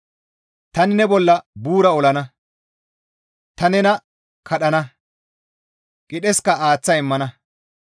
Tani ne bolla buura olana; ta nena kadhana; qidheska aaththa immana.